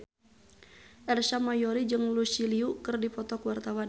Ersa Mayori jeung Lucy Liu keur dipoto ku wartawan